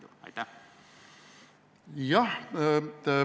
Te andsite ju oma heakskiidu.